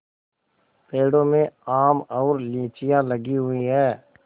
पेड़ों में आम और लीचियाँ लगी हुई हैं